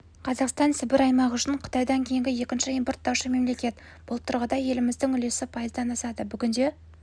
қазақстан сібір аймағы үшін қытайдан кейінгі екінші импорттаушы мемлекет бұл тұрғыда еліміздің үлесі пайыздан асады бүгінде